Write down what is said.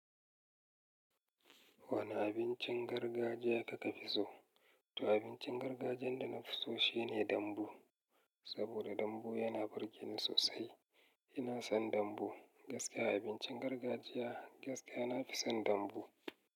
Wane abincin gargajiya kuka fi so? To abincin gargajiyan da na fi so shine dambu. Saboda dambu yana burge ni sosai. Ina son dambu. Gaskiya abincin gargajiya gaskiya nafi son dambu.